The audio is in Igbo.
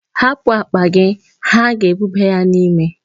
Hapụ akpa gị, ha ga-ebuba ya n'ime.